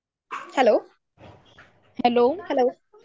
hello hello